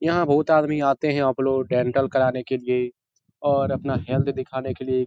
यहाँ बहुत आदमी आते हैं डेंटल कराने के लिए और अपना हेल्थ दिखाने के लिए।